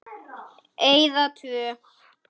Eyða tvö.